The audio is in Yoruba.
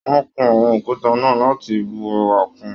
Wọn kún àwọn òkúta náà láti bù ẹwà kún.